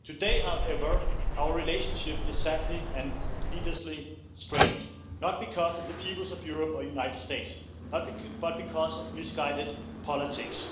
Today, however, our relationship is sadly and needlessly strained, not because of the peoples of Europe or United States, but because of misguided politics.